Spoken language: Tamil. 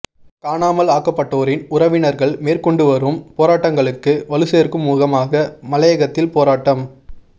காணாமல் ஆக்கப்பட்டோரின் உறவினர்கள் மேற்கொண்டுவரும் போராட்டங்களுக்கு வலுச்சேர்க்கும் முகமாக மலையகத்தில் போராட்டம்